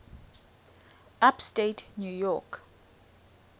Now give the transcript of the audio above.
upstate new york